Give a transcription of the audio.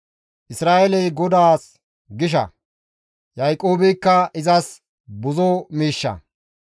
«Isra7eeley GODAAS gisha; Yaaqoobeykka izas buzo miishsha.